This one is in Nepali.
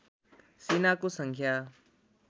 सेनाको सङ्ख्या